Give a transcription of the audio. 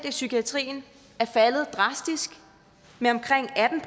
i psykiatrien er faldet drastisk med omkring atten